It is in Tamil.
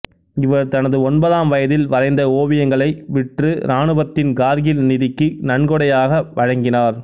இவர் தனது ஒன்பதாம் வயதில் வரைந்த ஓவியங்களை விற்று இராணுவத்தின் கார்கில் நிதிக்கு நன்கொடையாக வழங்கினார்